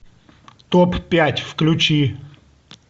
топ пять включи